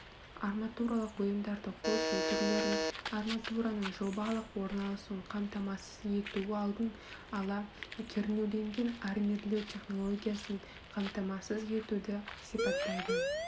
арматуралық бұйымдарды қосылу түрлерін арматураның жобалық орналасуын қамтамасыз ету алдын ала кернеуленген армирлеу технологиясын қаимтамасыз етуді сипаттайды